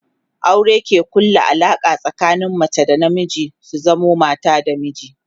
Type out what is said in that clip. aure ke ƙulla Alaƙa tsakanin mace da na miji su zamo mata da miji